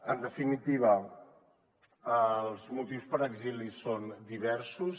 en definitiva els motius per a exili són diversos